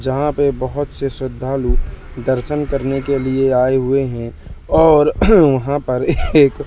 जहाँ पे बहोत से श्रद्धालु दर्शन करने के लिए आए हुए हैं और वहाँ पर एक--